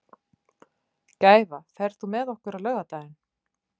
Gæfa, ferð þú með okkur á laugardaginn?